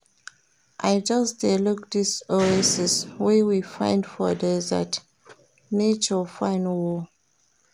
I just dey look dis oasis wey we find for desert, nature fine o.